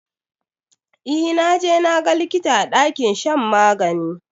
Yee, i have consulted the doctor in the sick bay?